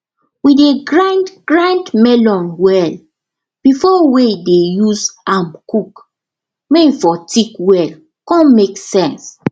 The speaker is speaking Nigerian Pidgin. we dey grind grind melon well before wey dey use am cook may for thick well con make sense